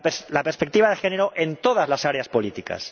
la perspectiva de género en todas las áreas políticas.